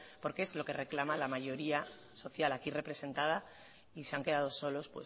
porque es lo que reclama la mayoría social aquí representada y se han quedado solos